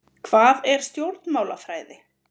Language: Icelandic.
Hvað er stjórnmálafræði?